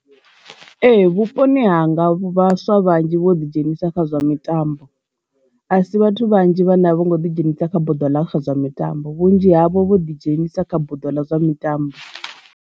Ee, vhuponi hanga vhaswa vhanzhi vho ḓi dzhenisa kha zwa mitambo, a si vhathu vhanzhi vhane a vho ngo ḓi dzhenisa kha buḓo ḽa kha zwa mitambo vhunzhi havho vho ḓi dzhenisa kha buḓo ḽa zwa mitambo.